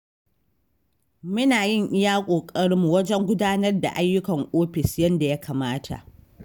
Muna yin iya ƙoƙarinmu wajen gudanar da ayyukan ofis yadda ya kamata.